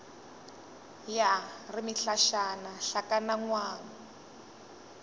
ya re mehlašana hlakana ngwang